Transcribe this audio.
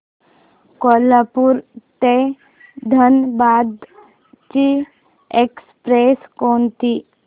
कोल्हापूर ते धनबाद ची एक्स्प्रेस कोणती